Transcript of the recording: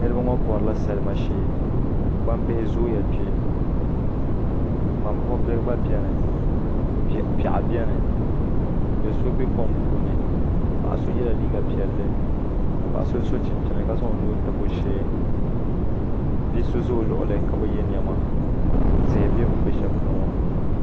Niraba ŋo borila salima shee gbambihi zooya kpɛ ŋmani buɣu bihi gba biɛni piɛɣu biɛni do so bɛ kom puuni paɣa so yɛla liiga piɛlli ka paɣa so so chinchin ka zaŋ o nuu tabi o shee bia ʒɛ o luɣuli ni ka bi yɛ niɛma tihi bɛ bi ni bɛ shɛli ŋo